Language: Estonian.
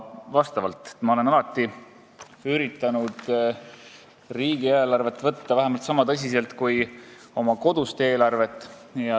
Ma olen alati üritanud riigieelarvet võtta vähemalt sama tõsiselt kui oma kodust eelarvet.